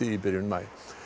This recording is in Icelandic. í byrjun maí